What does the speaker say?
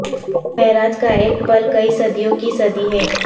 معراج کا ایک پل کئی صدیوں کی صدی ہے